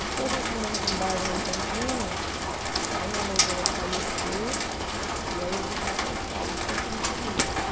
Depois nós mudamos um bairro lá em Campinas, aí minha mãe veio a falecer, e aí eu vim para São Paulo, daqui não saí mais.